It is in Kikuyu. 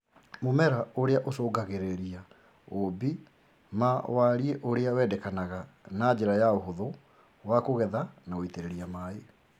Mũmera ũrĩa ũcũngagĩrĩria ũũmbi ma wariĩ ũrĩa wendekanaga ma njĩra ya ũhuthũ wa kũgetha na gũitĩrĩria maĩ